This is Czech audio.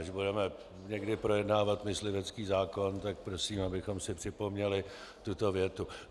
Až budeme někdy projednávat myslivecký zákon, tak prosím, abychom si připomněli tuto větu.